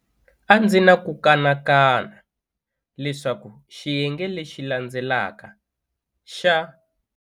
A ndzi ni ku kanakana leswaku xiyenge lexi la ndzelaka xa.